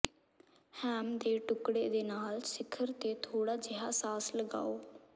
ham ਦੇ ਟੁਕੜੇ ਦੇ ਨਾਲ ਸਿਖਰ ਤੇ ਥੋੜਾ ਜਿਹਾ ਸਾਸ ਲਗਾਓ